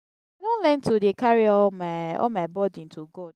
i don learn to dey carry all my all my burden to god.